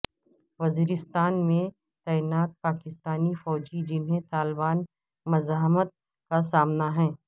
وزیرستان میں تعینات پاکستانی فوجی جنہیں طالبان مزاحمت کا سامنا ہے